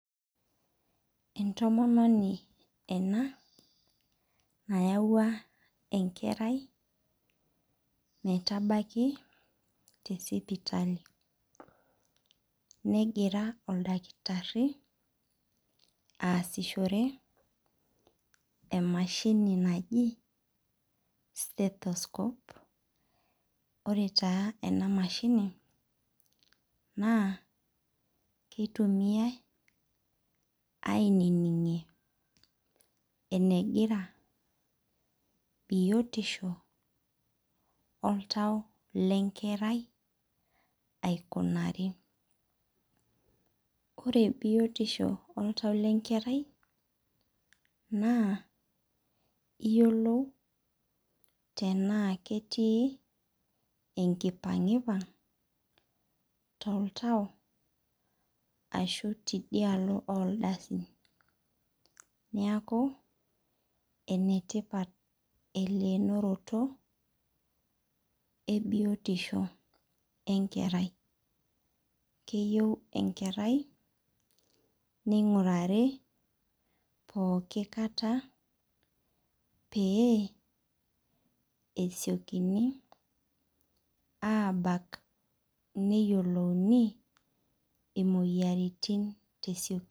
Entomononi ena nayaua enkerai metabaki te sipitali negira oltakitari aasishore emashini naji stethoscope ore taa ena mashini naa kitumiai anining'ie enegira biotisho oltau le nkerai aikunari. Ore biotisho oltau le nkerai naa iyiolou tena ketii enkipang'ipang' to ltau ashu tidialo oldasi. Niaku enetipat elenoronoto ee biotisho enkerai. Keyeu enkerai ning'urari pookin kataa pee esiokini abak neyiolouni imoyiaritin tesiokinoto.